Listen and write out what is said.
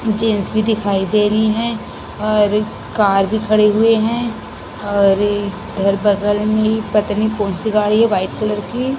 जेन-स-बी दिखाई दे रही है और कार भी खड़े हुए हैं और धर बगल में पतानी कौन सी गाड़ी है व्हाइट कलर की--